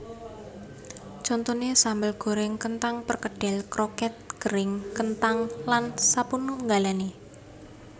Contoné sambel gorèng kenthang perkedel kroket kering kenthang lan sapanunggalé